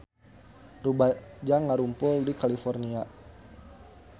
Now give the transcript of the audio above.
Rumaja ngarumpul di California